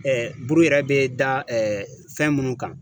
buru yɛrɛ bɛ da fɛn minnu kan.